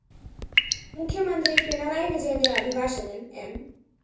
മുഖ്യമന്ത്രി പിണറായി വിജയന്റെ അഭിഭാഷകന്‍ എം